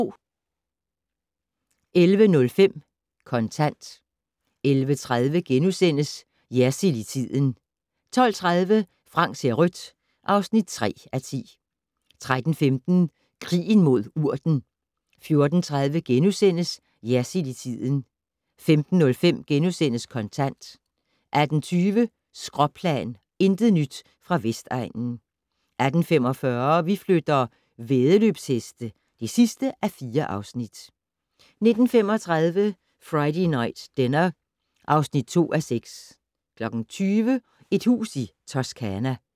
11:05: Kontant 11:30: Jersild i tiden * 12:30: Frank ser rødt (3:10) 13:15: Krigen mod urten 14:30: Jersild i tiden * 15:05: Kontant * 18:20: Skråplan - intet nyt fra Vestegnen 18:45: Vi flytter - væddeløbsheste (4:4) 19:35: Friday Night Dinner (2:6) 20:00: Et hus i Toscana